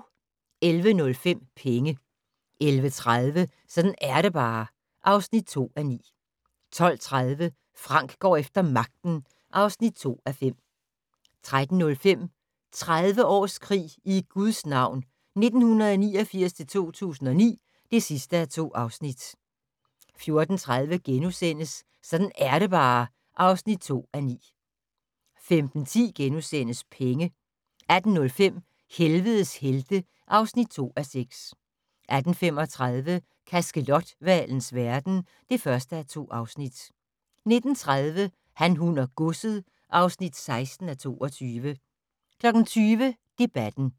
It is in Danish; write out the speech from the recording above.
11:05: Penge 11:30: Sådan er det bare (2:9) 12:30: Frank går efter magten (2:5) 13:05: 30 års krig i Guds navn 1989-2009 (2:2) 14:30: Sådan er det bare (2:9)* 15:10: Penge * 18:05: Helvedes helte (2:6) 18:35: Kaskelothvalens verden (1:2) 19:30: Han, hun og godset (16:22) 20:00: Debatten